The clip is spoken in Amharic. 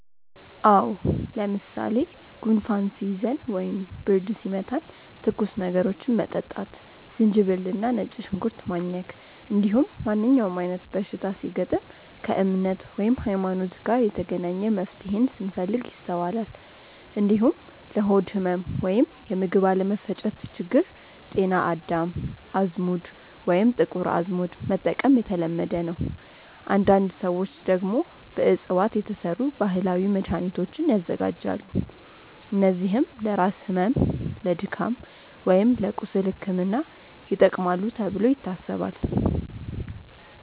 አዎ። ለምሳሌ ጉንፋን ሲይዘን ወይም ብርድ ሲመታን ትኩስ ነገሮችን መጠጣት፣ ዝንጅብል እና ነጭ ሽንኩርት ማኘክ፣ እንዲሁም ማንኛውም አይነት በሽታ ሲገጥም ከእምነት (ሀይማኖት) ጋር የተገናኘ መፍትሄን ስንፈልግ ይስተዋላል። እንዲሁም ለሆድ ህመም ወይም የምግብ አለመፈጨት ችግር ጤና አዳም፣ አዝሙድ ወይም ጥቁር አዝሙድ መጠቀም የተለመደ ነው። አንዳንድ ሰዎች ደግሞ በእፅዋት የተሰሩ ባህላዊ መድሃኒቶችን ያዘጋጃሉ፣ እነዚህም ለራስ ህመም፣ ለድካም ወይም ለቁስል ሕክምና ይጠቅማሉ ተብሎ ይታሰባል።